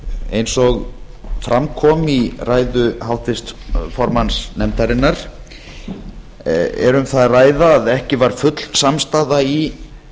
eins og fram kom í ræðu háttvirts formanns nefndarinnar er um það að ræða að ekki var full samstaða í